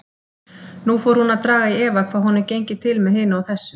Nú fór hún að draga í efa hvað honum gengi til með hinu og þessu.